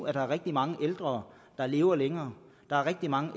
at der er rigtig mange ældre der lever længere og rigtig mange